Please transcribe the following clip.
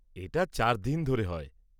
এটা চারদিন ধরে হয়।